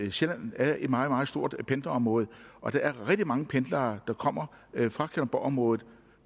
at sjælland er et meget meget stort pendlerområde og der er rigtig mange pendlere der kommer fra kalundborgområdet